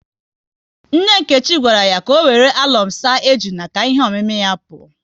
Nne Nkechi gwara ya ka ọ wéré alọm saa ejuna ka ihe omimi ya pụọ